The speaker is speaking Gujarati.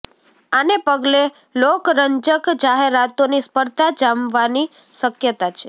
આને પગલે લોકરંજક જાહેરાતોની સ્પર્ધા જામવાની શક્યતા છે